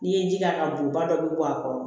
N'i ye ji k'a kan bon ba dɔ bɛ bɔ a kɔrɔ